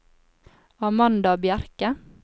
Amanda Bjerke